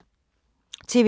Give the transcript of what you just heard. TV 2